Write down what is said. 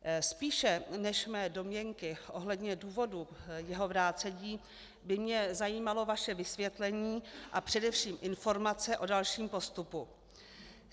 Spíše než mé domněnky ohledně důvodů jeho vrácení by mě zajímalo vaše vysvětlení a především informace o dalším postupu.